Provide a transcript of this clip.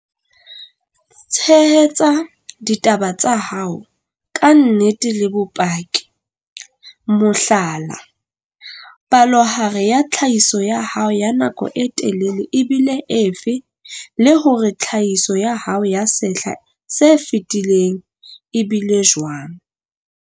Tshehetsa ditaba tsa hao ka nnete le bopaki mohlala, palohare ya tlhahiso ya hao ya nako e telele e bile efe? Le hore tlhahiso ya hao ya sehla se fetileng e bile jwang?